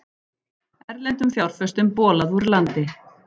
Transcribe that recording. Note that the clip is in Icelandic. Erlendum fjárfestum bolað úr landi